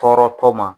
Tɔɔrɔtɔ ma